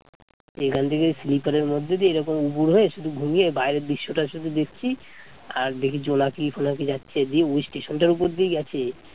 এখান থেকে sleeper এর মধ্যে দিয়ে এরকম উপুর হয়ে শুধু ঘুমিয়ে বাইরের দৃশ্যটা শুধু দেখছি আর দেখি জোনাকি ফোনাকি যাচ্ছে যে ওই স্টেশন টার উপর দিয়েই গেছে